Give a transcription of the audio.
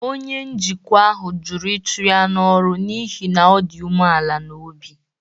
Onye njikwa ahụ jụrụ ịchụ ya n’ọrụ n’ihi na ọ dị umeala n’obi.